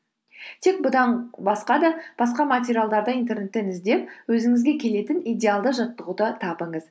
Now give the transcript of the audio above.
тек бұдан басқа материалдарды интернеттен іздеп өзіңізге келетін идеалды жаттығуды табыңыз